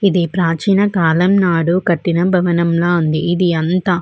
ఇది ప్రాచీన కాలం నాడు కట్టిన భవనం లా ఉంది. ఇది అంత --